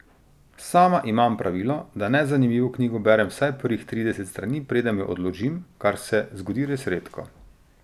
Sama imam pravilo, da nezanimivo knjigo berem vsaj prvih trideset strani, preden jo odložim, kar se zgodi res redko.